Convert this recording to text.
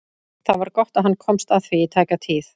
Það var gott að hann komst að því í tæka tíð.